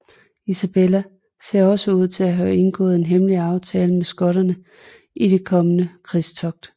Isabella ser også ud til at have indgået en hemmelig aftale med skotterne i det kommende krigstogt